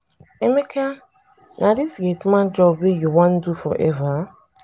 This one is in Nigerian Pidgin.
emeka na dis gate man job wey you wan do forever?